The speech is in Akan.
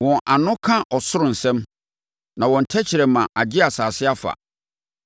Wɔn ano ka ɔsoro nsɛm, na wɔn tɛkrɛma agye asase afa.